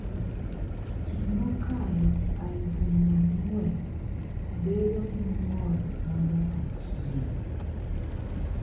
Ji mokalo aluf mia ang'wen bedo gi ng'ol ma nyaka chieng’.